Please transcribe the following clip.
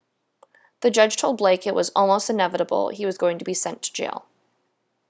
the judge told blake it was almost inevitable he was going to be sent to jail